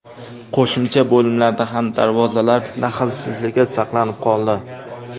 Qo‘shimcha bo‘limlarda ham darvozalar daxlsizligi saqlanib qoldi.